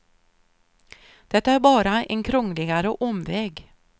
De tar bara en krångligare omväg.